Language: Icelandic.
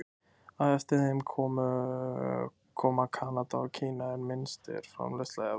Á eftir þeim koma Kanada og Kína en minnst er framleiðslan í Evrópu.